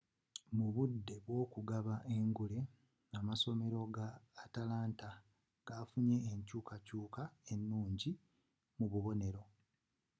mu budde bw'okugaba engule amasomera ga atlanta gafunye enkyuukakyuuka ennungi mu bubonero